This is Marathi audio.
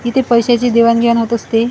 इथे पैशाची देवाण घेवाण होत असते.